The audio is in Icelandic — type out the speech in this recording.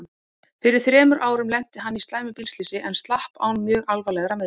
Fyrir þremur árum lenti hann í slæmu bílslysi en slapp án mjög alvarlegra meiðsla.